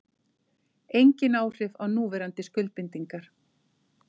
Engin áhrif á núverandi skuldbindingar